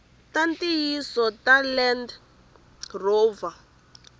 ta ntiyiso ta land rover